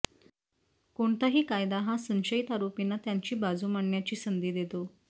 कोणताही कायदा हा संशयित आरोपींना त्यांची बाजू मांडण्याची संधी देतो